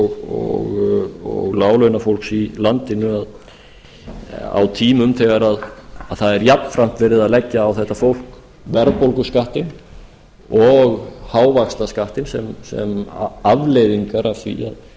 og lágtekjufólks í landinu á tímum þegar það er jafnframt verið að leggja á þetta fólk verðbólguskattinn og hávaxtaskattinn sem afleiðingar af því að